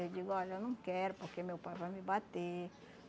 Eu digo, olha, eu não quero porque meu pai vai me bater.